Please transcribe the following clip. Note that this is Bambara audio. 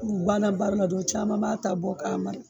U banna baara la dɔrn caman b'a ta bɔ k'a mara